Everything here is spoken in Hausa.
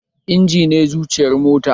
Injin ne zuciyar mota